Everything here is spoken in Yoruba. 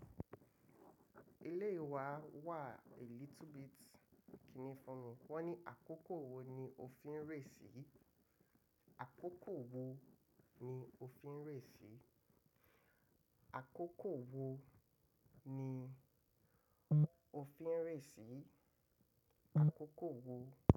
Ele yii wa wa, a liitle bit kìíní fún mi, wọ́n ní àkókò wo ni ò fin rèé sí? Àkókò wo ni òfin rèé sí? Àkókò wo ni òfin rèé sí? Àkókò wo.